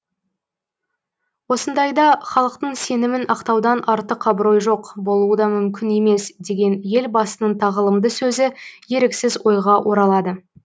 осындайда халықтың сенімін ақтаудан артық абырой жоқ болуы да мүмкін емес деген елбасының тағылымды сөзі еріксіз ойға оралады